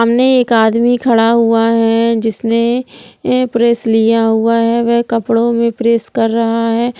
सामने एक आदमी खड़ा हुआ है जिसने प्रेस लिया हुआ है वह कपड़ों में प्रेस कर रहा है ।